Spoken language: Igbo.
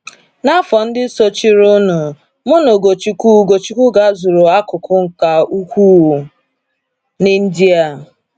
N’afọ ndị sochirinụ, mụ na Ugochukwu Ugochukwu gazuru akụkụ ka ukwuu n’India.